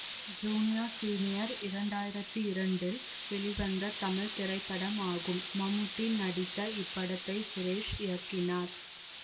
junior senior இரண்த்தியிரத்தி இரண்டில் வெளிவந்த தமிழ் திரைப்படமாகும் மம்முட்டி நடித்த இப்படத்தை சுரேஷ் இயக்கினார்